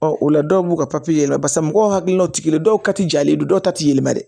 Ɔ o la dɔw b'u ka yɛlɛma barisa mɔgɔw hakililaw ti kelen ye dɔw ka jalen don dɔw ta tɛ yɛlɛma dɛ